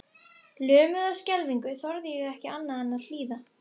Hættu þessari vitleysu og fáðu þér kaffi.